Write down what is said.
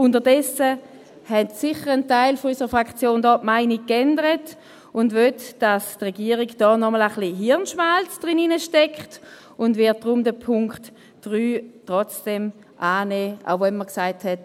Inzwischen hat bestimmt ein Teil unserer Fraktion die Meinung geändert und will, dass die Regierung hier nochmals ein wenig Hirnschmalz hineinsteckt, und wird deshalb den Punkt 3 trotzdem annehmen – auch wenn man gesagt hat: